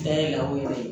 Fɛn ye lako ye dɛ